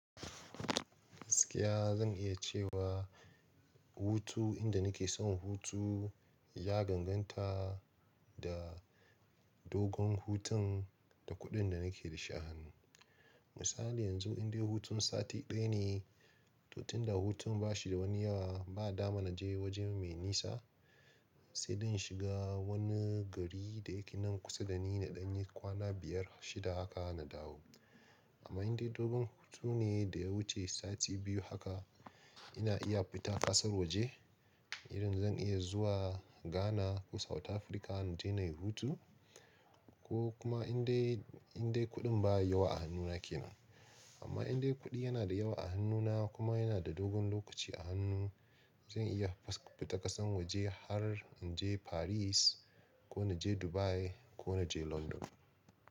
Gaskiya zan iya cewa hutu, inda nake son hutu ya daganta da dogon hutun da kuɗin da nake da shi a hannu. Misali yanzu indai hutun sati ɗaya ne, to tunda hutun ba shi da wani yawa ba, dama na je waje mai nisa sai dai in shiga wani gari da yake nan kusa da ni na ɗanyi kwana biyar, shida haka na dawo. Amma indai dogon hutun ne da ya wuce sati biyu haka ina iya fita ƙasar waje, irin zan iya zuwa Ghana ko South Africa na je na yi hutu ko kuma indai, indai kuɗin ba yawa a hannuna ke nan. Amma indai kuɗi yana da yawa a hannuna kuma yana da dogon lokaci a hannu zan iya fita ƙasan waje har in je Paris ko na je Dubai ko na je London.